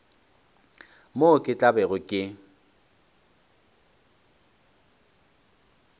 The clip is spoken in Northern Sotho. moo ke tla bego ke